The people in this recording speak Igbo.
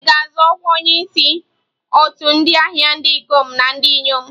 Ị ga-azọ ọkwa onyeisi otu ndị ahịa ndị ikom na ndị inyom.